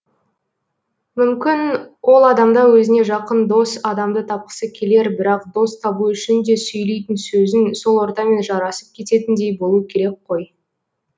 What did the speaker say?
мүмкін ол адамда өзіне жақын дос адамды тапқысы келер бірақ дос табу үшін де сөйлейтін сөзің сол ортамен жарасып кететіндей болу керек қой